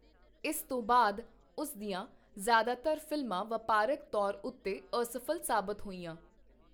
ਇਸ ਤੋਂ ਬਾਅਦ, ਉਸ ਦੀਆਂ ਜ਼ਿਆਦਾਤਰ ਫ਼ਿਲਮਾਂ ਵਪਾਰਕ ਤੌਰ ਉੱਤੇ ਅਸਫ਼ਲ ਸਾਬਤ ਹੋਈਆਂ।